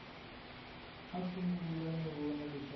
a sungula no vona leswaku